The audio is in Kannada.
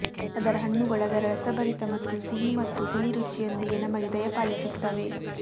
ಅದರ ಹಣ್ಣುಗಳು ಅದರ ರಸಭರಿತ ಮತ್ತು ಸಿಹಿ ಮತ್ತು ಹುಳಿ ರುಚಿಯೊಂದಿಗೆ ನಮಗೆ ದಯಪಾಲಿಸುತ್ತವೆ